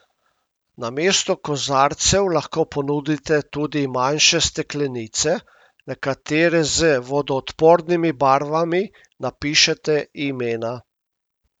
Namesto kozarcev lahko ponudite tudi manjše steklenice, na katere z vodoodpornimi barvami napišete imena.